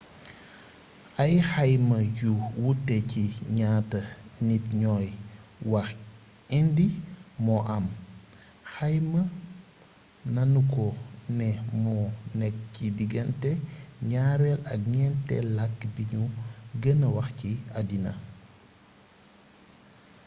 ay xayma yu wute ci ñaata nit ñooy wax hindi moo am xayma nanu ko ne moo nekk ci diggante ñaareel ak ñenteel làkk bi nu gëna wax ci addina